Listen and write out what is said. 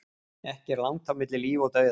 Ekki er langt á milli líf og dauða.